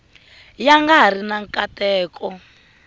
ya nga ri na nkateko